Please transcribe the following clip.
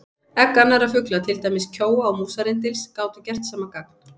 Egg annarra fugla, til dæmis kjóa og músarrindils, gátu gert sama gagn.